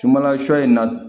Sumanla sɔ in na